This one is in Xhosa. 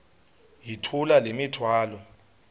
yithula le mithwalo